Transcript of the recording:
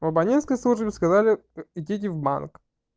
в абонентской службе сказали идите в банк